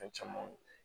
Fɛn camanw